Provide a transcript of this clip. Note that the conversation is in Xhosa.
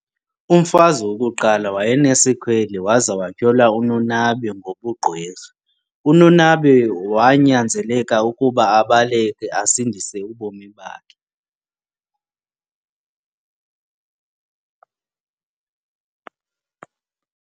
Umfazi wokuqala wayenesikhwele waza wathyola uNonabe ngobugqwirha, uNonabe wanyanzeleka ukuba abaleke asindise ubomi bakhe.